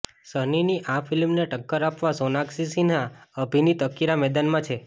સનીની આ ફિલ્મને ટક્કર આપવા સોનાક્ષી સિહાં અભિનીત અકીરા મેદાનમાં છે